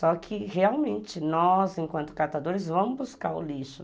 Só que realmente nós, enquanto catadores, vamos buscar o lixo.